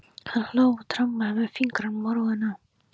Hann hló og trommaði með fingrunum á rúðuna.